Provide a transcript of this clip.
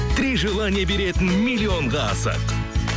три желания беретін миллионға асық